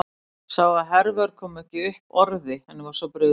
Sá að Hervör kom ekki upp orði, henni var svo brugðið.